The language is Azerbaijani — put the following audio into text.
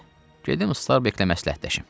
Gedim Usta Beyklə məsləhətləşim.